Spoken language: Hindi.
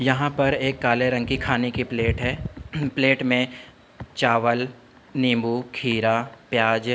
यहाँ पर एक काले रंग की खाने की प्लेट है। प्लेट में चावल निम्बू खीरा प्याज --